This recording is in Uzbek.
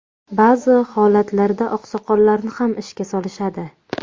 Ba’zi holatlarda oqsoqollarni ham ishga solishadi.